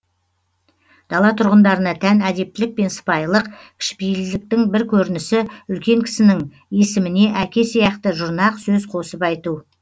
дала тұрғындарына тән әдептілік пен сыпайылық кішіпейілділіктің бір көрінісі үлкен кісінің есіміне әке сияқты жұрнақ сөз қосып айту